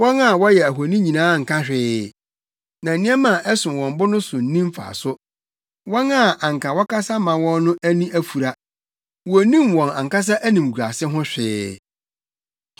Wɔn a wɔyɛ ahoni nyinaa nka hwee, na nneɛma a ɛsom wɔn bo no so nni mfaso. Wɔn a anka wɔkasa ma wɔn no ani afura; wonnim wɔn ankasa animguase ho hwee.